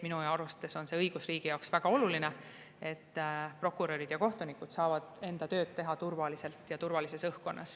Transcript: Minu arust on see õigusriigi jaoks väga oluline, et prokurörid ja kohtunikud saavad enda tööd teha turvaliselt ja turvalises õhkkonnas.